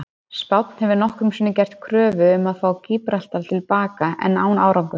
Spánn hefur nokkrum sinnum gert kröfu um að fá Gíbraltar til baka en án árangurs.